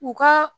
U ka